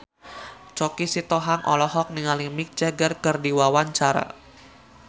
Choky Sitohang olohok ningali Mick Jagger keur diwawancara